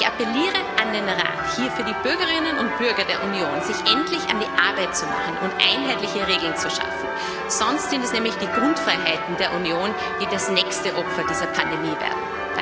Ich appelliere an den Rat, hier für die Bürgerinnen und Bürger der Union sich endlich an die Arbeit zu machen und einheitliche Regeln zu schaffen, sonst sind es nämlich die Grundfreiheiten der Union, die das nächste Opfer dieser Pandemie werden.